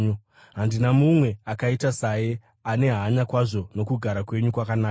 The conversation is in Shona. Handina mumwe akaita saye, ane hanya kwazvo nokugara kwenyu kwakanaka.